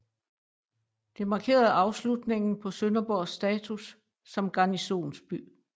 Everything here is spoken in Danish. Det markerede afslutningen på Sønderborgs status som garnisonsby